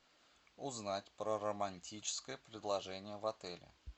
узнать про романтическое предложение в отеле